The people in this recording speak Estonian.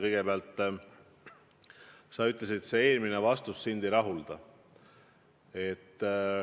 Kõigepealt, sa ütlesid, et eelmine vastus sind ei rahulda.